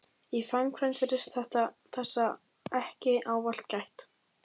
Í framkvæmd virðist þessa ekki ávallt gætt.